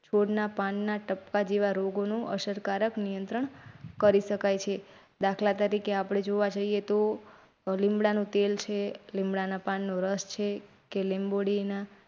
છોડના પાનના ટપકા જેવા રોગોનો અસરકારક નિયંત્રણ કરી શકાય છે. દાખલા તરીકે આપણે જોવા જઇએ તો લીમડાનું તેલ છે લીમડાના પાનનો રસ છે કે લીંબોડીના.